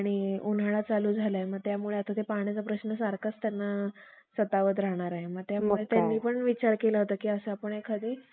शिष्य आराध्यासारखे, दिवसा मा~ दिवसा मशाली पेटवून पालखीत बसून चहूकडे विठ्ठल सुवासिनीसारखे